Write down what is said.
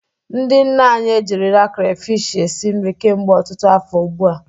Ndị nne anyị ejirila krafish esi nri kemgbe ọtụtụ afọ ugbu a.